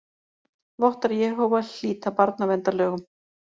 Vottar Jehóva hlýta barnaverndarlögum